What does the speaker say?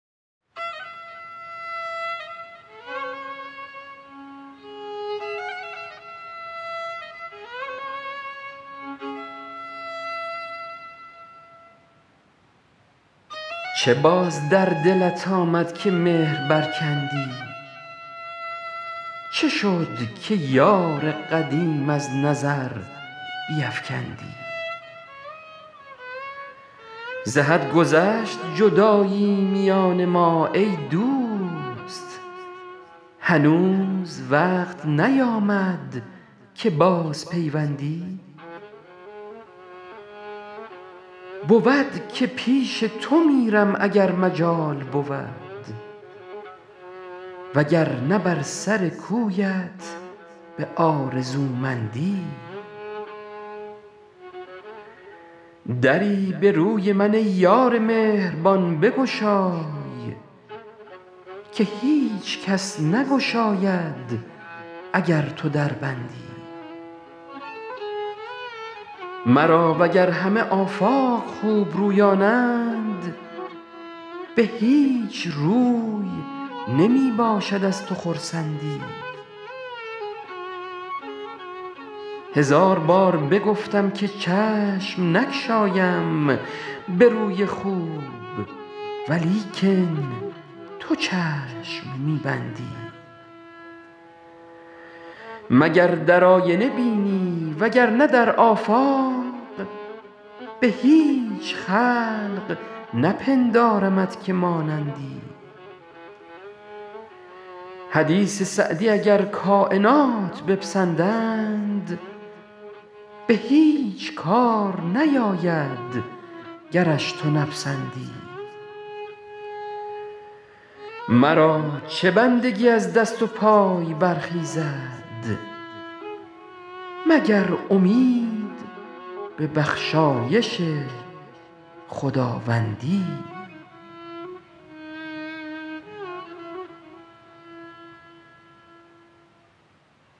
چه باز در دلت آمد که مهر برکندی چه شد که یار قدیم از نظر بیفکندی ز حد گذشت جدایی میان ما ای دوست هنوز وقت نیامد که بازپیوندی بود که پیش تو میرم اگر مجال بود وگرنه بر سر کویت به آرزومندی دری به روی من ای یار مهربان بگشای که هیچ کس نگشاید اگر تو در بندی مرا وگر همه آفاق خوبرویانند به هیچ روی نمی باشد از تو خرسندی هزار بار بگفتم که چشم نگشایم به روی خوب ولیکن تو چشم می بندی مگر در آینه بینی وگرنه در آفاق به هیچ خلق نپندارمت که مانندی حدیث سعدی اگر کاینات بپسندند به هیچ کار نیاید گرش تو نپسندی مرا چه بندگی از دست و پای برخیزد مگر امید به بخشایش خداوندی